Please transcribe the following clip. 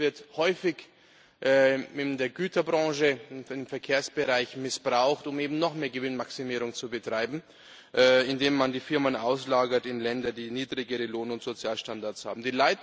Doch dieses wird häufig in der Güterbranche, im Verkehrsbereich, missbraucht, um eben noch mehr Gewinnmaximierung zu betreiben, indem man die Firmen auslagert in Länder, die niedrigere Lohn und Sozialstandards haben.